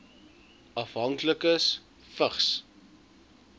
afhanklikes vigs